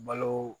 Balo